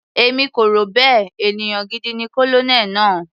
Èmi kò rò bẹ́ẹ̀, ènìyàn gidi ni Colonel náà.